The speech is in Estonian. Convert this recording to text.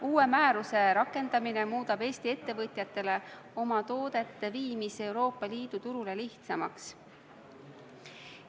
Uue määruse rakendamine muudab Eesti ettevõtjatele oma toodete viimise Euroopa Liidu turule lihtsamaks.